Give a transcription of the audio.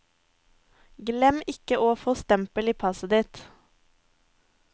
Glem ikke å få stempel i passet ditt.